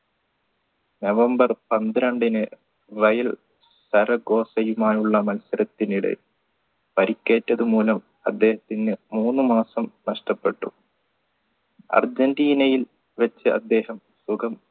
November പന്ത്രണ്ടിന് വയൽ ആയുള്ള മത്സരത്തിനിടെ പരിക്കേറ്റത് മൂലം അദ്ദേഹത്തിന് മൂന്നുമാസം നഷ്ടപ്പെട്ടു അർജൻറീനയിൽ വച്ച് അദ്ദേഹം സുഖം